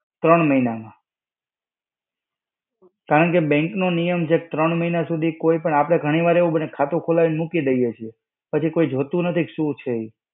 ત્રણ મહિનામાં. કારણકે bank નો નિયમ છે કે ત્રણ મહિના સુધી કોઈ પણ, આપણે ઘણી વાર એવું બને કે ખાતું ખોલાવીને મૂકી દઈએ છે, પછી કોઈ જોતું નથી કે શું છે ઈ.